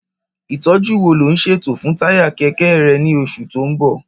Ìtọ́jú wo lò ń ṣètò fún táyà kẹ̀kẹ́ rẹ ní oṣù tó ń bọ̀?